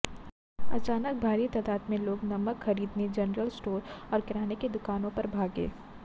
अचानक भारी तादाद में लोग नमक खरीदने जनरल स्टोर्स और किराने की दुकानों पर भागे